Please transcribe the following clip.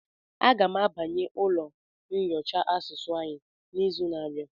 A ga m abanye ụlọ nyocha asụsụ anyị n'izu na-abịa.